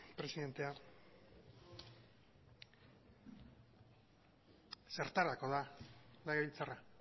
presidentea zertarako da legebiltzarra